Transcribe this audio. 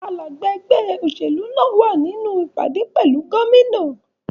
Alája ẹgbẹ́ òṣèlú náà wà nínú ìpàdé pẹ̀lú Gómìnà